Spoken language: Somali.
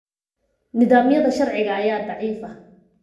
Nidaamyada sharciga ayaa daciifa.